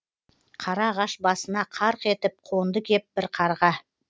қара ағаш басына қарқ етіп қонды кеп бір қарға